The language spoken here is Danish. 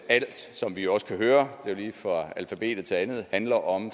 alt som vi også kunne høre det lige fra alfabetet til meget andet handler om